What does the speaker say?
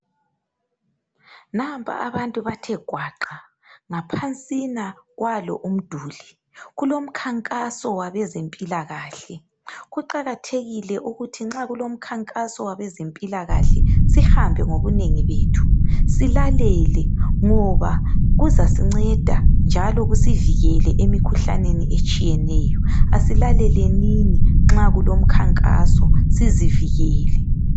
Nampa abantu bathegwaqa ngaphansina kwalo umduli kulomkhankaso wabezempilakahle kuqakathekile ukuthi nxa kulomkhankaso wabezempilakahle sihambe ngobunengi bethu silalele ngoba kuzasinceda njalo kusivikele emikhuhlaneni etshiyeneyo asilalelenini nxa kulomkhankaso sizivikele